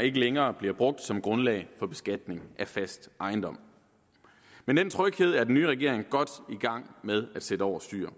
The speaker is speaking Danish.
ikke længere bliver brugt som grundlag for beskatning af fast ejendom men den tryghed er den nye regering godt i gang med at sætte over styr